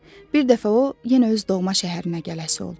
Bir dəfə o, yenə öz doğma şəhərinə gələsi oldu.